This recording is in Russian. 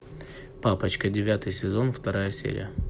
папочка девятый сезон вторая серия